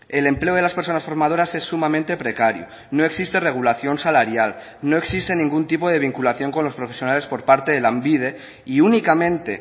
el empleo de las personas formadoras es sumamente precario no existe regulación salarial no existe ningún tipo de vinculación con los profesionales por parte de lanbide y únicamente